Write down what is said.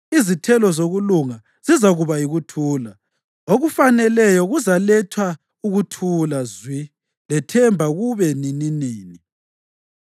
Izithelo zokulunga zizakuba yikuthula; okufaneleyo kuzaletha ukuthula zwi lethemba kuze kube nininini.